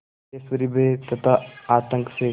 सिद्धेश्वरी भय तथा आतंक से